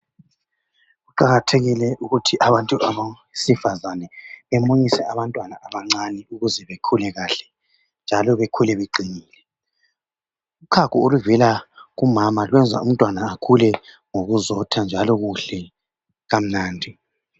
Kuqakathekile ukuthi abantu abesifazane bemunyise abantwana abancani ukuze bekhule kahle njalo bekhule beqinile. Uchago oluvela kumama lwenza umntwana akhule ngokuzotha njalo kuhle kamnandi.